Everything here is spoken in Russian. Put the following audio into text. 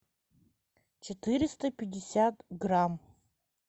четыреста пятьдесят грамм